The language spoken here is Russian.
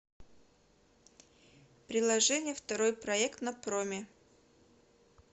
приложение второй проект на проме